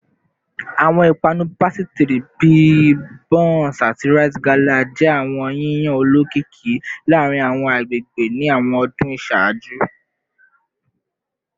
Awọn ipanu pasitiri bi bounce ati rite gala jẹ awọn yiyan olokiki laarin awọn agbegbe ni awọn ọdun iṣaaju